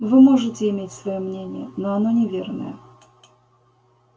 вы можете иметь своё мнение но оно неверное